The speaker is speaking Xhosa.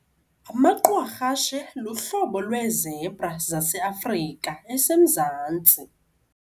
Amaqwarhashe luhlobo lweezebra zaseAfrika eseMzantsi.